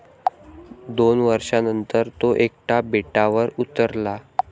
दोन वर्षानंतर तो एकटा बेटावर उतरला.